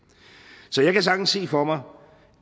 så jeg kan sagtens se for mig